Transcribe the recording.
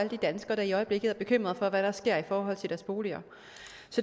de danskere der i øjeblikket er bekymrede for hvad der sker i forhold til deres boliger